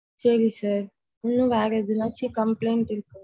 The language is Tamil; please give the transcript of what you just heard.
சேரி sir இன்னும் வேற எதுனாச்சும் complaint இருக்கு.